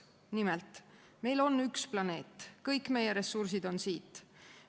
Nimelt: meil on üks planeet, kõik meie ressursid on siit.